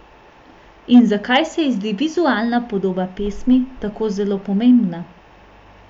In zakaj se ji zdi vizualna podoba pesmi tako zelo pomembna?